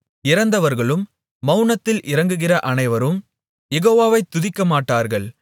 இறந்தவர்களும் மவுனத்தில் இறங்குகிற அனைவரும் யெகோவாவை துதிக்கமாட்டார்கள்